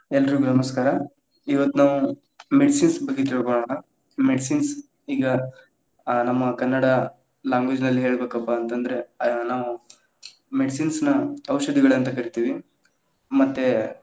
ಎಲ್ಲರ್ರೀಗು ನಮಸ್ಕಾರ, ಇವತ್ ನಾವು medicines lang:Foreign ಬಗ್ಗೆ ತಿಳಕೋಳೋಣ, medicines lang:Foreign ಈಗಾ ಆ ನಮ್ಮ ಕನ್ನಡ language lang:Foreign ನಲ್ಲಿ ಹೇಳಬೇಕಪ್ಪಾ ಅಂತಂದ್ರ ಅ ನಾವು medicines lang:Foreign ನ ಔಷಧಿಗಳಂತ್‌ ಕರಿತೀವಿ, ಮತ್ತೇ.